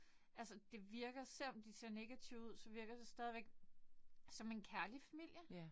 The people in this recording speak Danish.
Altså det virker selvom de ser negative ud så virker det stadig som en kærlig familie